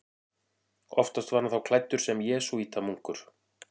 Oftast var hann þá klæddur sem jesúítamunkur.